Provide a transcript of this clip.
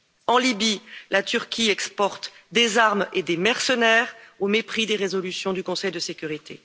En Libye, la Turquie exporte des armes et des mercenaires au mépris des résolutions du Conseil de sécurité.